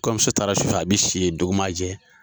Kɔɲɔnmuso taara su fɛ, a be si yen dugu ma na jɛ.